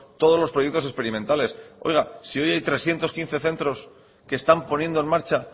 todos los proyectos experimentales oiga si hoy hay trescientos quince centros que están poniendo en marcha